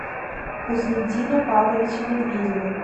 хусниддина павловича медведева